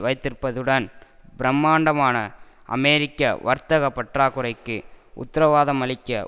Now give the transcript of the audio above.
வைத்திருப்பதுடன் பிரமாண்டமான அமெரிக்க வர்த்தக பற்றாக்குறைக்கு உத்தரவாதமளிக்க